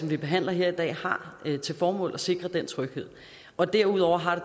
vi behandler her i dag har til formål at sikre den tryghed derudover har